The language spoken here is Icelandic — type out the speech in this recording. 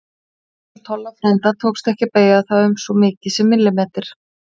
Jafnvel Tolla frænda tókst ekki að beygja það um svo mikið sem millimeter.